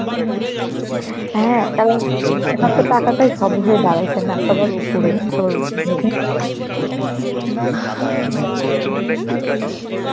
হ্যাঁ কারণ এখন তো টাকাটাই সব হয়ে দাড়াইছে না, সবার উপরে সবার উপরে.